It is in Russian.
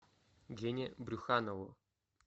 гене брюханову